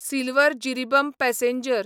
Silchar Jiribam passenger